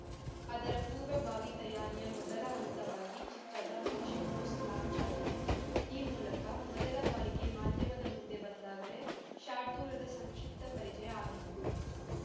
ಅದರ ಪೂರ್ವ ಭಾವಿ ತಯಾರಿಯ ಮೊದಲ ಹಂತವಾಗಿ ಚಿತ್ರದ ಮೋಷನ್‌ ಪೋಸ್ಟರ್‌ ಲಾಂಚ್‌ ಆಗಿದೆ ಆ ಮೂಲಕ ಮೊದಲ ಬಾರಿಗೆ ಮಾಧ್ಯಮದ ಮುಂದೆ ಬಂದಾಗಲೇ ಶಾರ್ದೂಲದ ಸಂಕ್ಷಿಪ್ತ ಪರಿಚಯ ಆಗಿದ್ದು